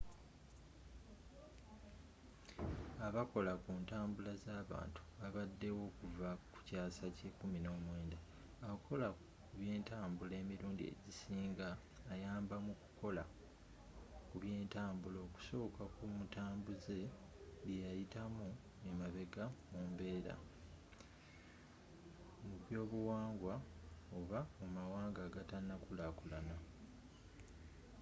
abakola ku ntambula zabantu babadewo okuva kukyaasa kye 19 akola kubyentabula emirundi egisinga ayamba mukukola kubyentambula okusuka ku mutambuze byeyayitamu emabega mu mbeera mubyobuwangwa oba mumawanga agatanakulakulana